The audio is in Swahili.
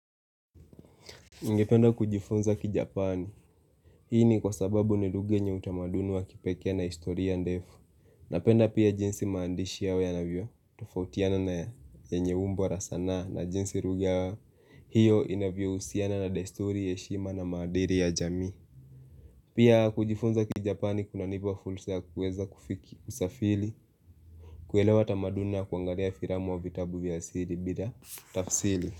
Ningependa kujifunza ki japani, hii ni kwa sababu ni lugha yenye utamaduni wa kipekea na historia ndefu Napenda pia jinsi maandishi yawe ya navyo, tofautiana na yenye umbo la sanaa na jinsi lugha hiyo inaviohusiana na desturi heshima na maadiri ya jamii Pia kujifunza ki japani kuna nipa fulsa ya kuweza kufiki safili, kuelewa tamaduni kuangalia firamu wa vitabu vya siri bila tafsili.